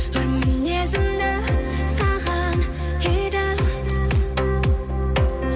жан мінезімді саған қидым